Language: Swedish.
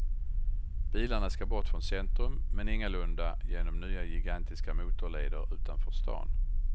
Bilarna ska bort från centrum, men ingalunda genom nya gigantiska motorleder utanför stan.